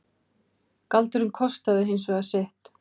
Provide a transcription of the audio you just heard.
Galdurinn kostaði hins vegar sitt.